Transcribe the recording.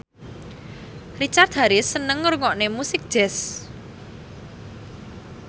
Richard Harris seneng ngrungokne musik jazz